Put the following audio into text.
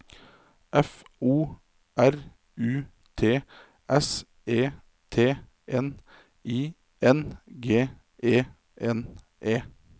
F O R U T S E T N I N G E N E